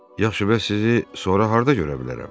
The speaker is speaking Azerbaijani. Yaxşı, bəs sizi sonra harda görə bilərəm?